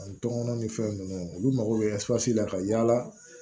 N tɔŋɔnɔn ni fɛn nunnu olu mago be la ka yaala